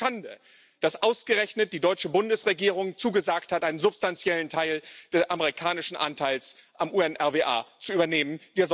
Es ist eine Schande, dass ausgerechnet die deutsche Bundesregierung zugesagt hat, einen substanziellen Teil des amerikanischen Anteils am UNRWA zu übernehmen.